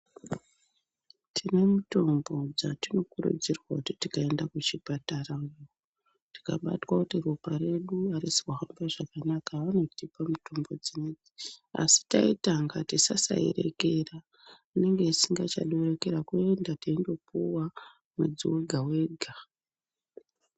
Tine mutombo dzatinokurudzirwa kuti tikaenda kuzvipatara tikabatwa kuti ropa redu harisi kuhambe zvakanaka vanotipa mitombo dzinoidzi. Asi taitanga tisasairekera inenge isingachadi kurekera kuenda teingopuva mwedzi wega-wega.